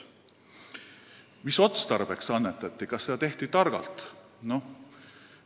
Mis otstarbeks annetati ja kas seda tehti targalt?